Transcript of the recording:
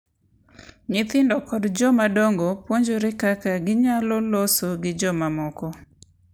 Nyithindo kod jomadongo puonjore kaka ginyalo loso gi jomamoko,